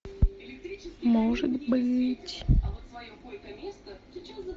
может быть